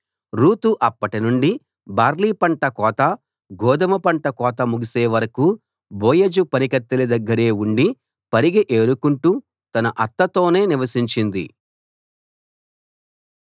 Ruth అప్పటినుండి barley పంట కోత గోదుమ పంట కోత ముగిసే వరకూ బోయజు పనికత్తెల దగ్గరే ఉండి పరిగె ఏరుకుంటూ తన అత్తతోనే నివసించింది